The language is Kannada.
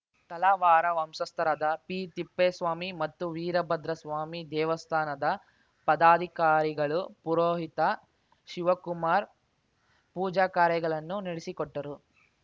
ತಳವಾರ ವಂಶಸ್ಥರಾದ ಪಿತಿಪ್ಪೇಸ್ವಾಮಿ ಮತ್ತು ವೀರಭದ್ರಸ್ವಾಮಿ ದೇವಸ್ಥಾನದ ಪದಾಧಿಕಾರಿಗಳು ಪುರೋಹಿತ ಶಿವಕುಮಾರ್‌ ಪೂಜಾ ಕಾರ್ಯಗಳನ್ನು ನಡೆಸಿಕೊಟ್ಟರು